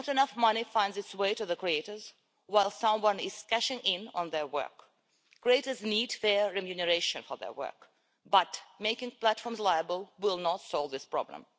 Not enough money finds its way to the creators while someone else is cashing in on their work. Creators need fair remuneration for their work, but making platforms liable will not solve this problem.